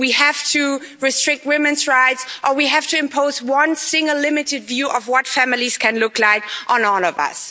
we have to restrict women's rights, or we have to impose one single limited view of what families can look like on all of us.